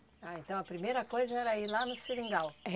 Ah, então a primeira coisa era ir lá no seringal. É.